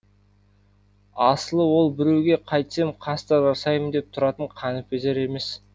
асылы ол біреуге қайтсем қастық жасаймын деп тұратын қаныпезер емес